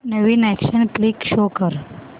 नवीन action flick show कर